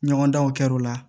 Ɲɔgɔndanw kɛra o la